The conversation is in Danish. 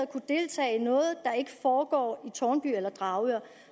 kunne deltage i noget der ikke foregår i enten tårnby eller dragør